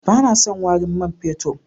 Ba na son warin man fetur.